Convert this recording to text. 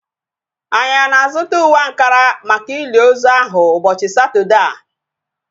Anyị ana-azụta uwe ankara maka ili ozu ahu ụbọchị Satọdee a?